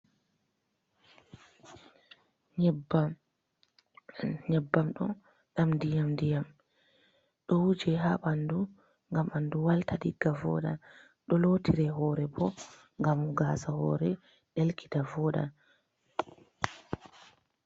Nyabbam ɗo ɗam diyam- diyam, do wujee ha bandu gam bandu walta digga voɗɗa, ɗo lotire hore bo gam gasa hore delkita voɗɗa.